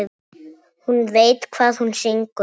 Hún veit hvað hún syngur.